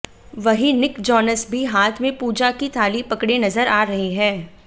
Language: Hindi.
वहीं निक जोनस भी हाथ में पूजा की थाली पकड़े नजर आ रहे हैं